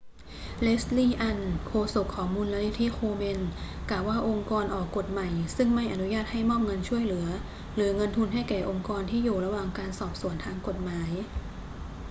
leslie aun โฆษกของมูลนิธิ komen กล่าวว่าองค์กรออกกฎใหม่ซึ่งใม่อนุญาตให้มอบเงินช่วยเหลือหรือเงินทุนให้แก่องค์กรที่อยู่ระหว่างการสอบสวนทางกฎหมาย